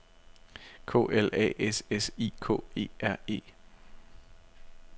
K L A S S I K E R E